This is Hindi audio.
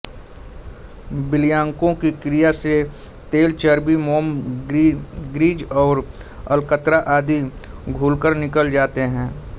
विलायकों की क्रिया से तेल चर्बी मोम ग्रीज और अलकतरा आदि घूलकर निकल जाते हैं